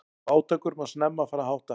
Fátækur má snemma fara að hátta.